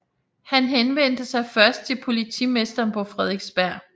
Han henvendte sig først til politimesteren på Frederiksberg